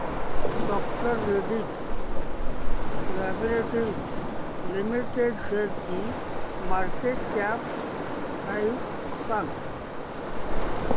डॉ Reddy's laboratories limited शेअरची market cap price सांगा